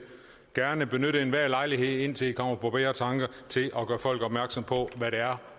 gerne benytte enhver lejlighed indtil i kommer på bedre tanker til at gøre folk opmærksomme på hvad det er